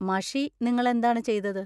മഷി നിങ്ങൾ എന്താണ് ചെയ്തത്?